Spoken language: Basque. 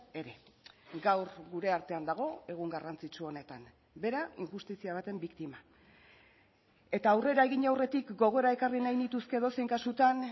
ere gaur gure artean dago egun garrantzitsu honetan bera injustizia baten biktima eta aurrera egin aurretik gogora ekarri nahi nituzke edozein kasutan